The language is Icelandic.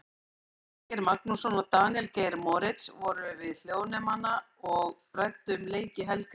Elvar Geir Magnússon og Daníel Geir Moritz voru við hljóðnemana og ræddu um leiki helgarinnar.